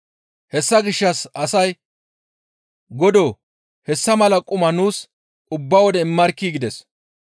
Hessa gishshas asay, «Godoo, hessa mala quma nuus ubba wode immarkkii!» gides.